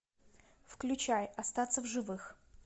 включай остаться в живых